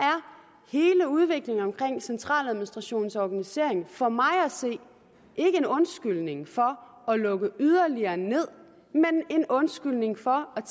hele udviklingen omkring centraladministrationens organisering for mig at se ikke en undskyldning for at lukke yderligere ned men en undskyldning for at